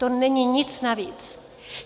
To není nic navíc.